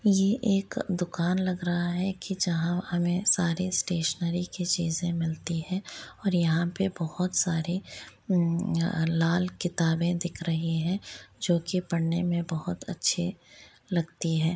ये एक दूकान लग रहा हैं की जहां हमें सारे स्टेशनरी के चीज़े मिलती है और यहां पे बहोत सारी अ लाल किताबे दिख रही है जो की पढने में बहुत अच्छी लगती है।